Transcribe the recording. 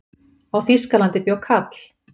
Á Þýskalandi bjó kall.